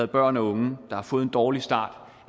børn og unge der har fået en dårlig start